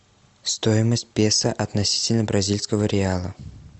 стоимость песо относительно бразильского реала